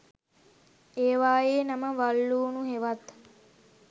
ඒවා යේ නම වල් ලුණු හෙවත්